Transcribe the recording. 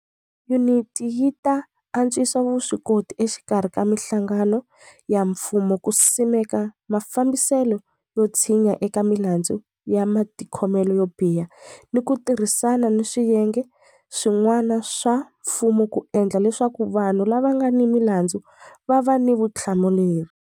Yuniti yi ta antswisa vuswikoti exikarhi ka mihlangano ya mfumo ku simeka mafambiselo yo tshinya eka milandzu ya matikhomelo yo biha ni ku ti rhisana ni swiyenge swi n'wana swa mfumo ku endla leswaku vanhu lava nga ni milandzu va va ni vuthla muleri.